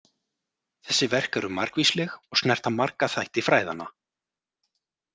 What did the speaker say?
Þessi verk eru margvísleg og snerta marga þætti fræðanna.